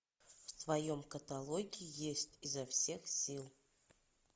в твоем каталоге есть изо всех сил